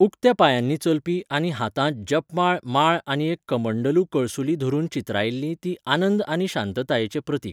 उक्त्या पांयांनी चलपी आनी हातांत जपमाळ माळ आनी एक कमंडलू कळसुली धरून चित्रायिल्ली ती आनंद आनी शांततायेचें प्रतीक.